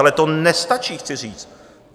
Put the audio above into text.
Ale to nestačí, chci říct.